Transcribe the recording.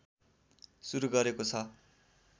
सुरु गरेको छ